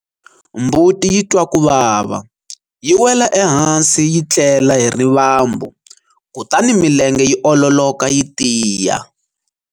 Mbuti yi twa ku vava, yi wela ehansi yi tlela hi rivambu kutani milenge yi ololoka yi tiya.